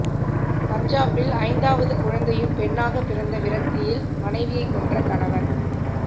பஞ்சாபில் ஐந்தாவது குழந்தையும் பெண்ணாக பிறந்த விரக்தியில் மனைவியை கொன்ற கணவன்